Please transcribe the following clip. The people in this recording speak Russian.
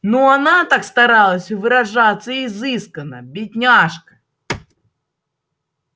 но она так старалась выражаться изысканно бедняжка